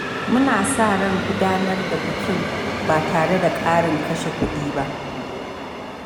Muna sa ran gudanar da bikin ba tare da ƙarin kashe kuɗi ba.